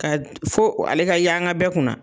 Ka fo ale ka yanga bɛɛ kunna